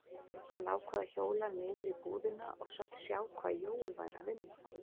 Hann ákvað að hjóla niður í búðina og sjá hvað Jói væri að vinna.